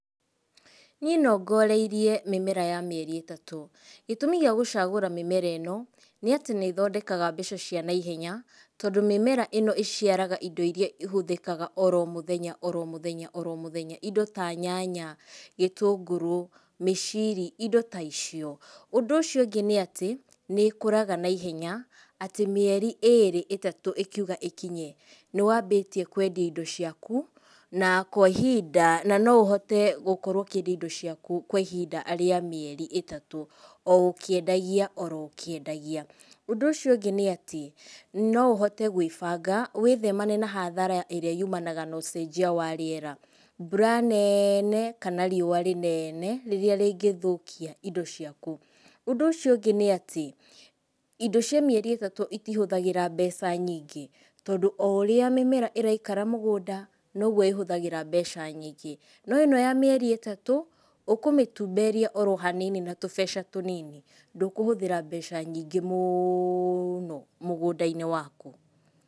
Niĩ nongoreirie mĩmera ya mĩeri ĩtatũ. Gĩtũmi gĩa gũcagũra mĩmera ĩno, nĩ atĩ nĩ ĩthondekaga mbeca cia naihenya tondũ mĩmera ĩno ĩciaraga indo iria ihũthĩkaga oro mũthenya oro mũthenya oro mũthenya. Indo ta nyanya, gĩtũngũrũ, mĩciri, indo ta icio. Ũndũ ũcio ũngĩ nĩ atĩ nĩ ikũraga naihenya atĩ mĩeri ĩrĩ ĩtatũ ĩkiuga ĩkinye, nĩ wambĩtie kwendia indo ciaku na kwa ihinda na no ũhote gũkorwo ũkĩendia indo ciaku kwa ihinda rĩa mĩeri ĩtatũ, o ũkĩendagia, oro ũkĩendagia. Ũndũ ũcio ũngĩ nĩ atĩ no ũhote gwĩbanga, wĩtheme na hathara ĩrĩa yumanaga na ũcenjia wa rĩera, mbura nene, kana riũa rĩnene, rĩrĩa rĩngĩthũkia indo ciaku. Ũndũ ũcio ũngĩ nĩ atĩ indo cia mĩeri ĩtatũ itihũthagĩra mbeca nyingĩ, tondũ o ũrĩa mĩmera ĩraikara mũgũnda noguo ĩhũthagĩra mbeca nyingĩ. No ĩno ya mĩeri ĩtatũ, ũkũmĩtumberia oro hanini na tubeca tũnini, ndũkũhũthĩra mbeca nyingĩ mũno mũgũnda-inĩ waku.